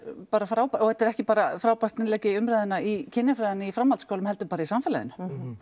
bara frábær og þetta er ekki bara frábært innlegg í umræðuna í kynjafræði í framhaldsskólum heldur bara í samfélaginu